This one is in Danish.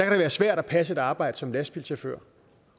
være svært at passe et arbejde som lastbilchauffør